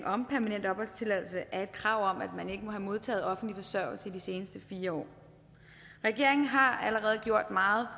om permanent opholdstilladelse er et krav om at man ikke må have modtaget offentlig forsørgelse de seneste fire år regeringen har allerede gjort meget